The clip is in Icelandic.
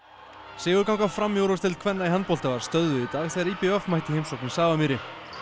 sigurganga Fram í úrvalsdeild kvenna í handbolta var stöðvuð í dag þegar í b v mætti í heimsókn í Safamýri